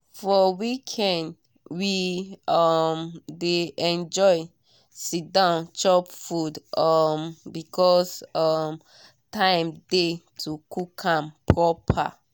for weekend we um dey enjoy siddon chop food um because um time dey to cook am proper.